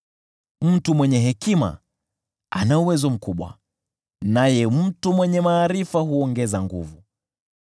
Mtu mwenye hekima ana uwezo mkubwa, naye mtu mwenye maarifa huongeza nguvu,